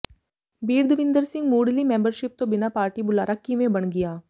ਬੀਰਦਵਿੰਦਰ ਸਿੰਘ ਮੁੱਢਲੀ ਮੈਂਬਰਸ਼ਿਪ ਤੋਂ ਬਿਨਾਂ ਪਾਰਟੀ ਬੁਲਾਰਾ ਕਿਵੇਂ ਬਣ ਗਿਆ